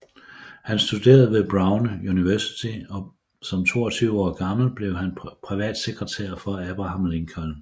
Han studerede ved Brown University og som 22 år gammel blev han privatsekretær for Abraham Lincoln